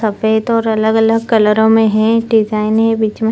सफेद और अलग-अलग कलरों में हैं डिजाइने बिच में --